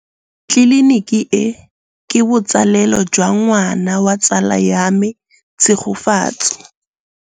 Tleliniki e, ke botsalêlô jwa ngwana wa tsala ya me Tshegofatso.